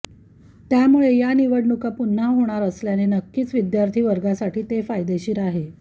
त्यामुळे या निवडणुका पुन्हा होणार असल्याने नक्कीच विद्यार्थी वर्गासाठी ते फायदेशीर आहे